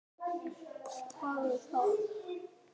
Einar, viltu smakka?